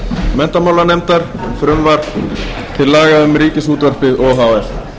laga um laga um ríkisútvarpið o h f